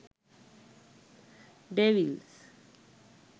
devils